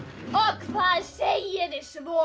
hvað segið þið svo